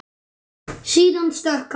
Síðan stökk hann.